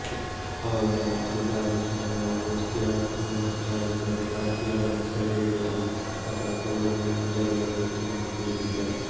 ಅವರು ತಮ್ಮ ಅಧಿಕಾರ ರಕ್ಷಣೆಗಾಗಿ ಎಷ್ಟೇ ಆತ್ಮೀಯ ಮಿತ್ರರಾಗಿದ್ದರೂ ಭಾರತೀಯರನ್ನು ಸೆರೆ ಹಿಡಿಯಲು ಅಥವಾ ಕೊಲ್ಲಲೂ ಹಿಂಜರಿಯರು ಎಂದು ತಿಳಿದಿದ್ದ